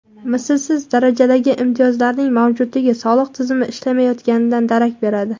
Mislsiz darajadagi imtiyozlarning mavjudligi soliq tizimi ishlamayotganidan darak beradi.